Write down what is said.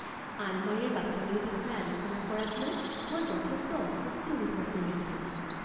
আলমাৰীৰ বাছনিৰ বিষয়ে আলোচনা কৰাক লৈ মই যথেষ্ট অস্বস্তি অনুভৱ কৰি আছোঁ।